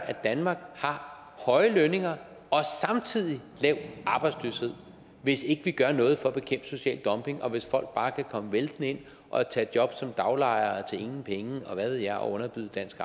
at danmark har høje lønninger og samtidig lav arbejdsløshed hvis ikke vi gør noget for at bekæmpe social dumping og hvis folk bare kan komme væltende ind og tage job som daglejere til ingen penge og hvad ved jeg og underbyde dansk